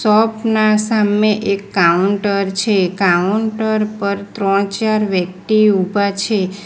Shop ના સામે એક કાઉન્ટર છે કાઉન્ટર પર ત્રણ ચાર વ્યક્તિ ઊભા છે.